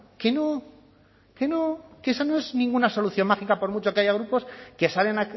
que no que no que esa no es ninguna solución mágica por mucho que haya grupos que salen